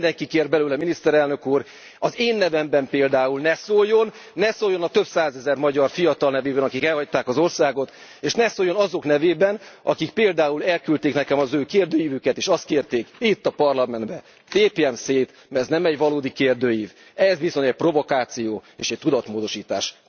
De nem mindenki kér belőle, miniszterelnök úr, az én nevemben például ne szóljon, ne szóljon a több százezer magyar fiatal nevében, akik elhagyták az országot, és ne szóljon azok nevében, akik például elküldték nekem az ő kérdőívüket, és azt kérték, itt a Parlamentben tépjem szét, mert ez nem egy valódi kérdőív, ez bizony egy provokáció és egy tudatmódosítás.